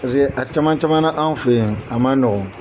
Paseke a caman caman na anw fɛ ye a man nɔgɔ.